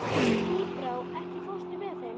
Tíbrá, ekki fórstu með þeim?